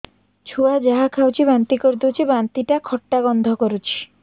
ଛୁଆ ଯାହା ଖାଉଛି ବାନ୍ତି କରିଦଉଛି ବାନ୍ତି ଟା ଖଟା ଗନ୍ଧ କରୁଛି